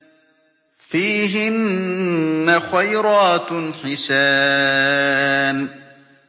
فِيهِنَّ خَيْرَاتٌ حِسَانٌ